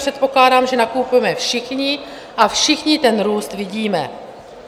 Předpokládám, že nakupujeme všichni a všichni ten růst vidíme.